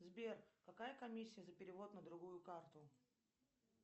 сбер какая комиссия за перевод на другую карту